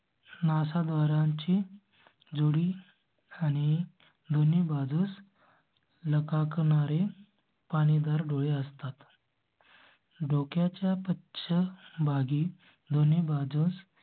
NASA द्वारांची. आणि दोन्ही बाजूस. ल का करा हे पाणी दार डोळे असतात. डोक्या च्या पश्च भागी दोन्ही बाजूस.